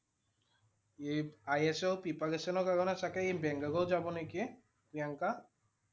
এই IS ৰ preparation ৰ কাৰণে চাগে ই বাংগালোৰ যাব নেকি প্ৰিয়ংকা